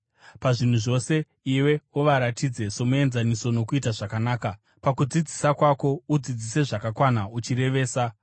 Pazvinhu zvose iwe uvaratidze somuenzaniso nokuita zvakanaka. Pakudzidzisa kwako udzidzise zvakakwana, uchirevesa